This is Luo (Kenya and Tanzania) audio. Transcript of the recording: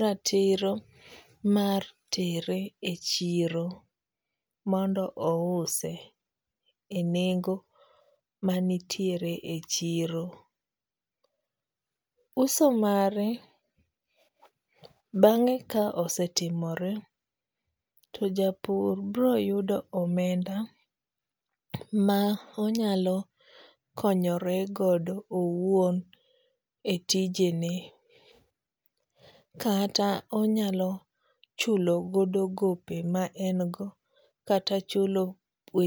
ratiro mar tere e chiro mondo ouse e nengo manitiere e chiro. Uso mare bang'e ka osetimore to japur bro yudo omenda ma onyalo konyoregodo owuon etijene. Kata onyalo chulo godo gope ma en go kata chule we